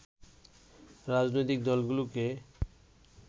রাজনৈতিক দলগুলোকে